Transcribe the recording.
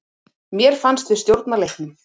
Mér fannst við stjórna leiknum.